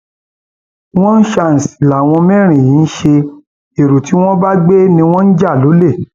wọn ṣàǹṣì làwọn mẹrin yìí ń ṣe ẹrọ tí wọn bá gbé ni wọn ń jà lólè